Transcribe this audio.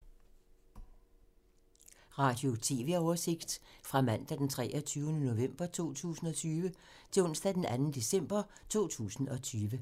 Radio/TV oversigt fra mandag d. 23. november 2020 til onsdag d. 2. december 2020